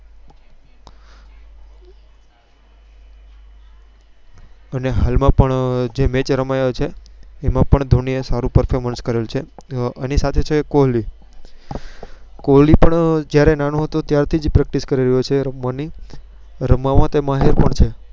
અને હાલ માં પણ જે Match રમાયેલી છે. તેમો પણ ધોની યે સારું આવું Performers કરેલ છે અની સાથે છે કોહલી પણ જયારે નાનો હતો ત્યારથીજ Practie કરી રહ્યો છે. રમવા ની રમવા માં તે માહિર પણ છે.